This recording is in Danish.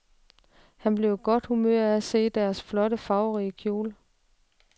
Han blev i godt humør af at se hendes flotte, farverige kjole.